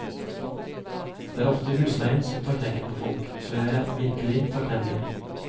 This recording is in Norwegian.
Det er ofte husleien som tar knekken på folk, så jeg er virkelig takknemlig.